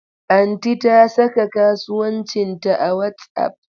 Aunty ta saka kasuwancinta a WhatsApp.